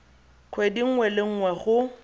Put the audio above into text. kgwedi nngwe le nngwe go